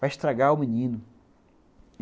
Vai estragar o menino.